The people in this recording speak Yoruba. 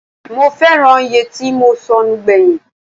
Mo fẹ́ràn yẹtí mo sọnù gbẹ̀yìn.